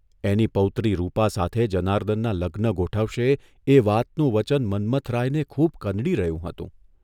' એની પૌત્રી રૂપા સાથે જનાર્દનના લગ્ન ગોઠવશે એ વાતનું વચન મન્મથરાયને ખૂબ કનડી રહ્યું હતું.